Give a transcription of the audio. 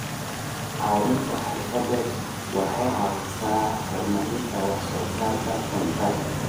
Caawinta xirfadeed waxay caawisaa horumarinta wax soo saarka cuntada.